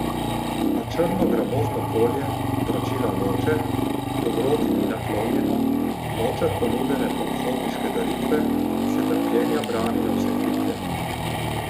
A črno gramozno polje vračila noče, dobroti ni naklonjeno, noče ponudene pohodniške daritve, se trpljenja brani na vse kriplje.